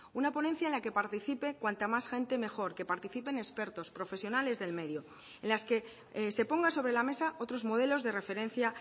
una ponencia en la que participe cuanta más gente mejor que participen expertos profesionales del medio en las que se pongan sobre la mesa otros modelos de referencia